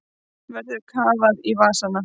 Verður kafað í vasana